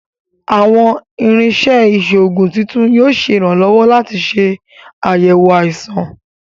Awọn irinṣẹ iṣoogun titun yoo ṣe iranlọwọ lati ṣe ayẹwo aisan